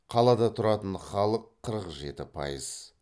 қалада тұратын халық қырық жеті пайыз